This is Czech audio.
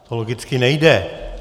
To logicky nejde.